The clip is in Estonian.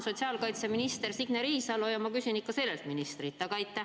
Sotsiaalkaitseminister on Signe Riisalo ja ma küsin seda ikka temalt.